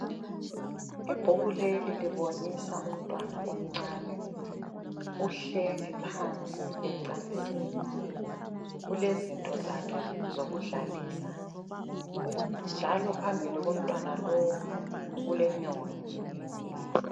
Ibhuku leli libonisa umntwana omncane. Uhleli phansi ecansini. ulezinto zakhe zokudlalisa njalo phambili komntwana lowu kulenyoni.